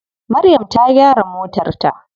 Maryam ta gyara motar ta.